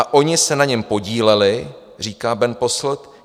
A oni se na něm podíleli, říká Bernd Posselt.